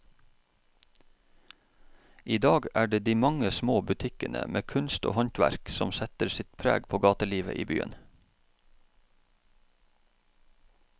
I dag er det de mange små butikkene med kunst og håndverk som setter sitt preg på gatelivet i byen.